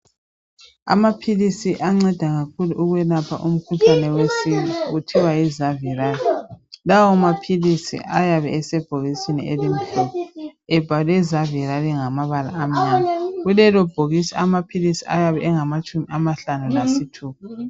Amaphilisi anceda kakhulu ukwelapha umkhuhlane wesiki , kuthiwa yi zaviral. Lawa maphilisi ayabe esebhokisini elimhlophe ebhalwe zaviral ngamabala amnyama. Kulelobhokisi amaphilisi ayabe engamatshumi amahlanu lasithupha.